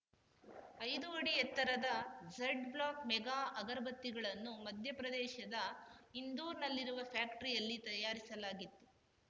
ಐದು ಅಡಿ ಎತ್ತರದ ಝಡ್ ಬ್ಲಾಕ್ ಮೆಗಾ ಅಗರ ಬತ್ತಿಗಳನ್ನು ಮಧ್ಯ ಪ್ರದೇಶದ ಇಂದೋರ್‌ನಲ್ಲಿರುವ ಫ್ಯಾಕ್ಟರಿಯಲ್ಲಿ ತಯಾರಿಸಲಾಗಿತ್ತು